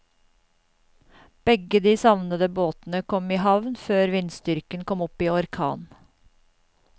Begge de savnede båtene kom i havn før vindstyrken kom opp i orkan.